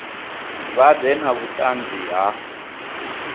vha ḓe na vhuṱanzi ha